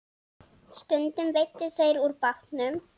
Stundum veiddu þeir úr bátnum.